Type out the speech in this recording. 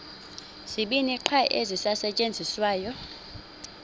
zibini qha ezisasetyenziswayo